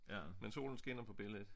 Men solen skinner på billedet